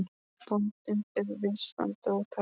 Bóndinn bað viðstadda að taka vel eftir.